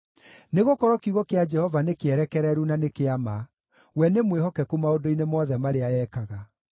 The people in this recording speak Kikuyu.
Nĩgũkorwo kiugo kĩa Jehova nĩkĩerekereru na nĩ kĩa ma; we nĩ mwĩhokeku maũndũ-inĩ mothe marĩa ekaga.